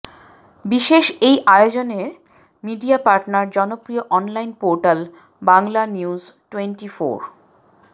বিশেষ এই আয়োজনের মিডিয়া পার্টনার জনপ্রিয় অনলাইন পোর্টাল বাংলানিউজ টোয়েন্টিফোর